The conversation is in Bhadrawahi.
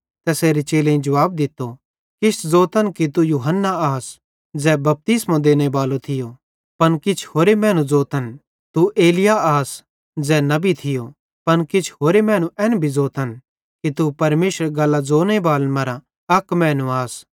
तैसेरे चेलेईं जुवाब दित्तो किछ ज़ोतन कि तू यूहन्ना आस ज़ै बपतिस्मो देनेबालो थियो पन किछ होरे मैनू ज़ोतन कि तू एलिय्याह आस ज़ै नबी थियो पन किछ होरे मैनू एन भी ज़ोतन कि तू परमेशरेरी गल्लां ज़ोनेबालन मरां अक मैनू आस